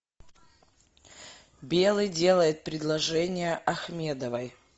белый делает предложение ахмедовой